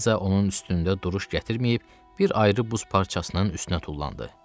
Eliza onun üstündə duruş gətirməyib bir ayrı buz parçasının üstünə tullandı.